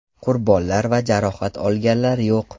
Qurbonlar va jarohat olganlar yo‘q.